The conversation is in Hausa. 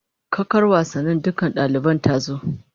Kakar wasannin dakunan dalibai ta zo